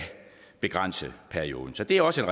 begrænse perioden så det er også